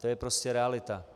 To je prostě realita.